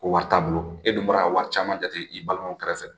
Ko wari t'a bolo e dun bɔra ka wari caman jate i balimaw kɛrɛfɛ